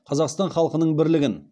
қазақстан халқының бірлігін